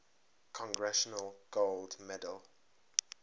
congressional gold medal